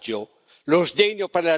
il coraggio per cambiarle.